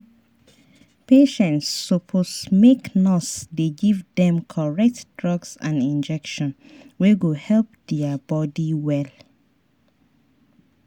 patients suppose make nurse dey give dem correct drugs and injection wey go help their body well.